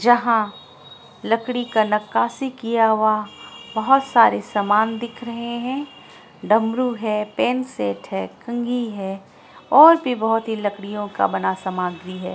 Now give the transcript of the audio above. जहाँ लकड़ी का नक्काशी किया हुआ बहुत सारे सामान दिख रहें हैं| डमरू है पेन सेट है कंघी है और भी बहोत लकड़ियों का बना सामान भी है।